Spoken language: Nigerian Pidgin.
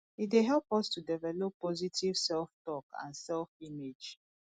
e dey help us to develop positive selftalk and selfimage